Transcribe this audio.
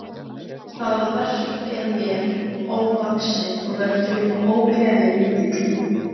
Það verk er mér ofvaxið og veldur mér ógleði mikilli.